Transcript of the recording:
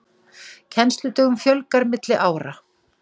Kennsludögum fjölgar milli ára